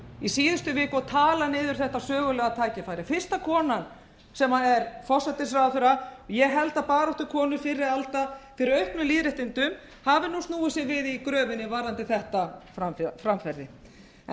í síðustu viku að tala niður þetta sögulega tækifæri fyrsta konan sem er forsætisráðherra ég held að baráttukonur fyrri alda fyrir auknum lýðréttindum hafi nú snúið sér í gröfinni varðandi þetta framferði en hvað nú hvað skal gert að